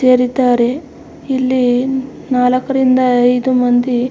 ಸೇರಿದ್ದಾರೆ ಇಲ್ಲಿ ನಾಲ್ಕರಿಂದ ಐದು ಮಂದಿ--